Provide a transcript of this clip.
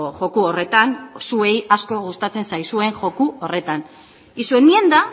joko horretan zuei asko gustatzen zaizuen joko horretan y su enmienda